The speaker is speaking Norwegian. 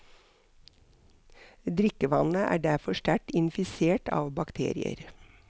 Drikkevannet er derfor sterkt infisert av bakterier.